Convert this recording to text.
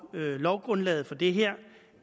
lovgrundlaget for det her